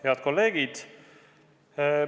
Head kolleegid!